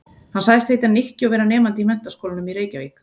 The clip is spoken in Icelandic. Hann sagðist heita Nikki og vera nemandi í Menntaskólanum í Reykjavík.